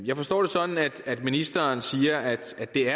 jeg forstår det sådan at ministeren siger at det